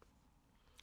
DR1